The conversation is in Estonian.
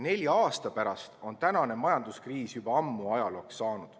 Nelja aasta pärast on tänane majanduskriis juba ammu ajalooks saanud.